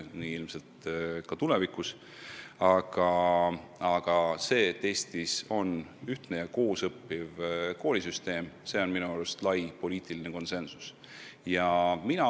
Aga selles osas, et Eestis võiks olla ühtne koolisüsteem, on minu arust saavutatud lai poliitiline konsensus.